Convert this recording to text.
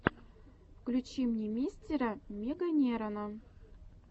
включи мне мистера меганерона